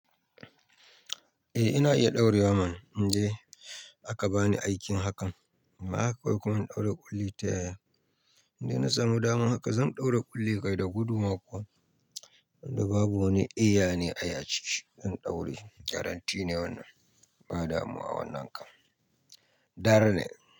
Eh ina iya ɗaurewa man. In ji aka bani aikin hakan. Ba haka kawai kuma in ɗaura ƙulli ta ya. In dai na samu dama haka zan ɗaura ƙulli kai da gudu ma kuwa. Wanda babu wani iya ne ai aciki. Zan ɗaura. Garanti ne wannan. Ba damuwa wannan kan. Dara ne.